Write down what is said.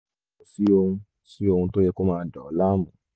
kò sí ohun sí ohun tó yẹ kó máa dà ọ́ láàmú